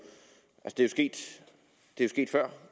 sket før